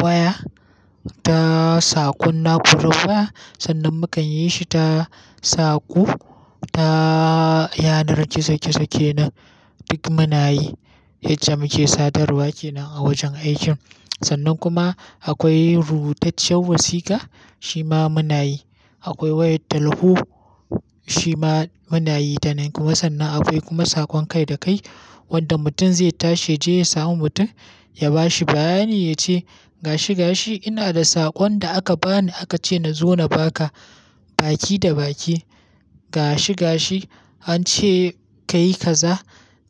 waya, ta saƙon na'urar waya, sannan mukan yi shi ta saƙo, ta yanar gizo-gizo kenan. Duk muna yi yacce muke sadarwa kenan a wajen aikin. Sannan kuma akwai rubutacciyar wasika, shi ma muna yi. Akwai wayar talho, shi ma muna yi da nan kuma. Sannan akwai kuma saƙon kai da kai wanda mutum zai tashi ya je ya samu mutum, ya ba shi bayani ya ce, "Gashi gashi, ina da saƙon da aka bani aka ce na zo na ba ka baki da baki. Gashi gashi, an ce ka yi kaza,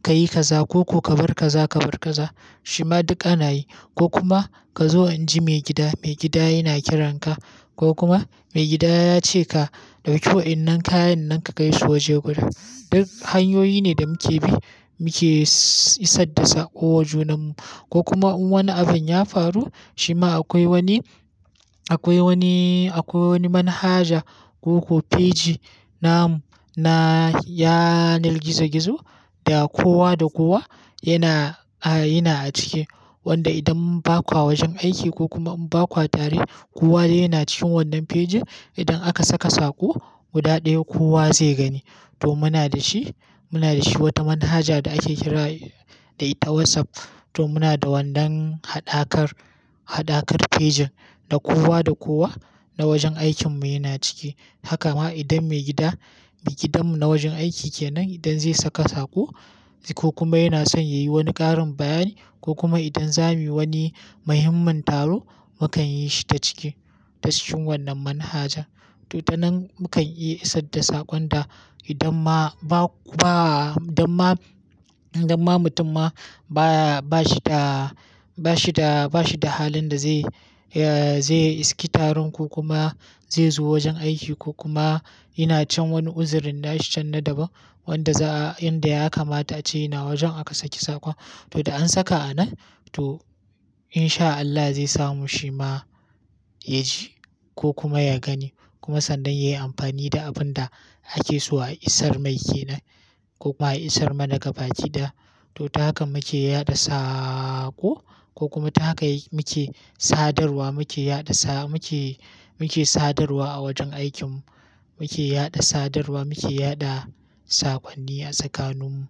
ka yi kaza ko ko ka bar kaza ka bar kaza." Shi ma duk ana yi. Ko kuma ka zo inji maigida, maigida yana kiranka. Ko kuma maigida ya ce ka ɗauki wa'innan kayan nan ka kai su waje gurin. Duk hanyoyi ne da muke bi muke isar da saƙo wa junanmu. Ko kuma in wani abin ya faru, shi ma akwai wani, akwai wani, akwai wani manhaja ko kuma feji na mu na yanar gizo-gizo da kowa da kowa yana, a, yana a ciki. Wanda idan muka ba kwa wajen aiki ko kuma in ba kwa tare, kowa dai yana cikin wannan fejin. Idan aka saka saƙo, guda ɗaya kowa zai gani. To muna da shi, muna da shi wata manhaja da ake kira da ita WhatsApp. To muna da wannan haɗakar, haɗakar fejin da kowa da kowa na wajen aikin mu yana ciki. Haka ma idan maigida, maigidan mu na wajen aiki kenan idan zai saka saƙo ko kuma yana son ya yi wani ƙarin bayani ko kuma idan za mu yi wani muhimmin taro, mukan yi shi ta ciki, ta cikin wannan manhaja. To ta nan mukan iya isar da saƙon da idan ma ba, ba idan ma, idan ma mutum ma ba, ba shi da, ba shi da, ba shi da halin da zai, eh, zai iske taron ko kuma zai zo wajen aiki ko kuma yana can wani uzirin na shi can na daban wanda za'a, inda ya kamata ce yana wajen aka saki saƙon. To da an saka a nan, to in sha Allah zai samu shi ma ya ji ko kuma ya gani. Kuma sannan ya yi amfani da abun da ake so a isar mai kenan ko kuma a isar mana gaba ɗaya. To ta haka muke yaɗa saƙo ko kuma ta haka muke sadarwa, muke yaɗa sa, muke, muke sadarwa a wajen aikin. Muke yaɗa sadarwa, muke yaɗa saƙonni a tsakanin mu.